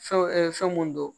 Fɛn fɛn mun don